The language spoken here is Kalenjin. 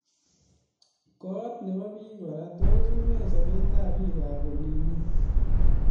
Kot nebo bik kora tos une sobetab biikab olinyi